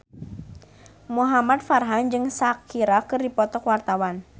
Muhamad Farhan jeung Shakira keur dipoto ku wartawan